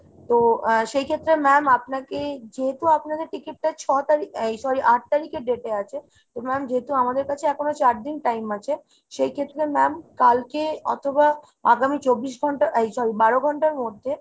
তো আ সেইক্ষেত্রে ma'am আপনাকে যেহেতু আপনাদের ticket টা ছ তারিখ এই sorry আট তারিখের date এ আছে, তো ma'am যেহেতু আমাদের কাছে এখনো চারদিন time আছে সেইক্ষেত্রে ma'am কালকে অথবা আগামী চব্বিশ ঘন্টা এই sorry বারো ঘন্টার মধ্যে